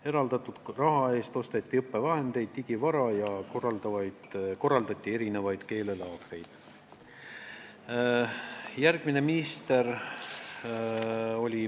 Eraldatud raha eest osteti õppevahendeid ja digivara ning korraldati keelelaagreid.